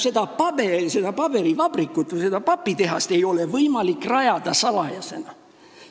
Seda paberivabrikut või seda papitehast ei ole võimalik rajada salajasena.